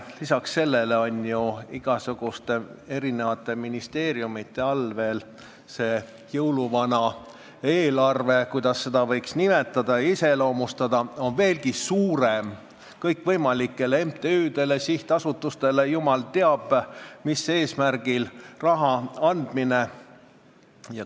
Lisaks on ju igasuguste ministeeriumite all jõuluvana eelarve, nagu seda võiks nimetada ja iseloomustada, veelgi suurem: kõikvõimalikele MTÜ-dele ja sihtasutustele jumal teab mis eesmärgil raha andmine.